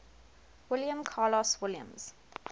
william carlos williams